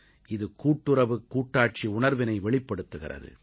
இது கூட்டுறவுக் கூட்டாட்சி உணர்வினை வெளிப்படுத்துகிறது